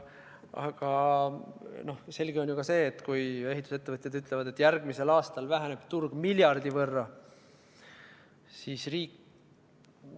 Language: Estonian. Aga selge on ju ka see, et kui ehitusettevõtjad ütlevad, et järgmisel aastal väheneb turg miljardi võrra, siis riik ...